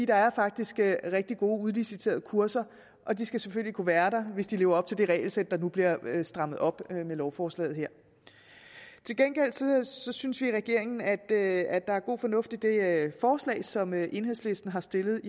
er faktisk rigtig gode udliciterede kurser og de skal selvfølgelig kunne være der hvis de lever op til det regelsæt der nu bliver strammet op med lovforslaget her til gengæld synes synes vi i regeringen at der er god fornuft i det forslag som enhedslisten har stillet